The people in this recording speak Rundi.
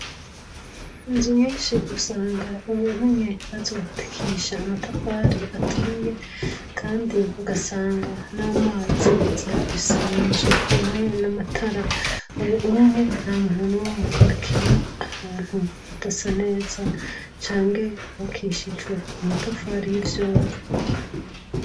Inzu nyinshi usanga umuntu umwe bazubakisha amatafari aturiye kandi ugasanga namazi ziyafise munzu hamwe namatara ubu unye ntamuntu numwe akiba ahantu hadasa neza canke hubakishijwe amatafari yivyondo